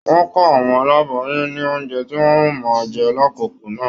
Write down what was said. Wọn kọ àwọn aláboyún ní oúnjẹ tí wọn o máa jẹ l'akoko náà.